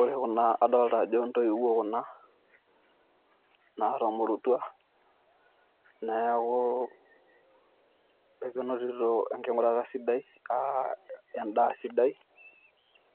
Ore Kuna adolita ajo intoiwuo Kuna naatomoruouta neeku, ekenotito enginyurata sidai aa endaa sidai